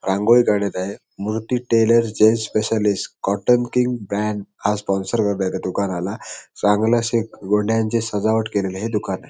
रांगोळी काडत आहे मुरटी tailor gents specialist cotton king हा स्पॉनसेर आहे या दुकानाला चांगली अशी एक गोंडयाची सजावट केलेल हे दुकान आहे.